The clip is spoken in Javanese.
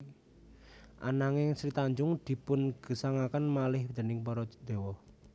Ananging Sri Tanjung dipun gesangaken malih déning para dewa